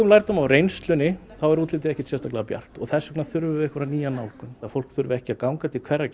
lærdóm af reynslunni þá er útlitið ekkert sérstaklega bjart þess vegna þurfum við einhverja nýja nálgun að fólk þurfi ekki að ganga til hverrar